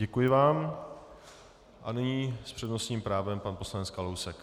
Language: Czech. Děkuji vám a nyní s přednostním právem pan poslanec Kalousek.